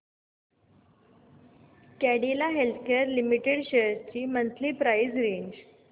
Cadila healthcare limited shares ची monthly price range